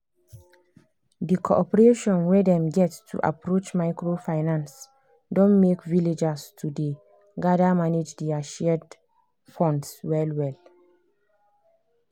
the cooperation wey dem get to approach microfinance don make villagers to dey gather manage their shared funds well well.